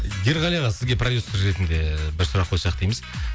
ерғали аға сізге продюссер ретінде бір сұрақ қойсақ дейміз